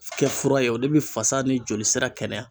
Kɛ fura ye o de bɛ fasa ni joli sira kɛnɛya